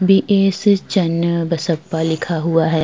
BS. Channabasappa लिखा हुआ है।